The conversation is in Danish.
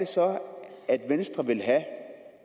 så vil have at